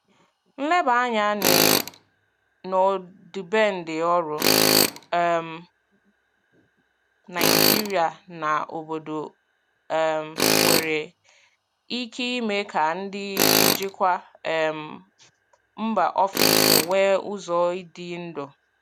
Nleba anya n'ọdịbendị ọrụ um Naijiria na obodo um nwere ike ime ka ndị njikwa um mba ofesi nwee ụzọ idu ndú.